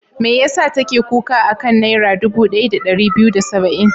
Me ya sa take kuka a kan Naira dubu ɗaya da ɗari biyu da saba'in?